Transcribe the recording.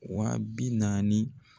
Wa bi naani